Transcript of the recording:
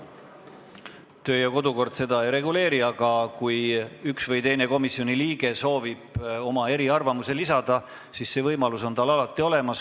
Kodu- ja töökorra seadus seda ei reguleeri, aga kui üks või teine komisjoni liige soovib oma eriarvamuse lisada, siis see võimalus on tal alati olemas.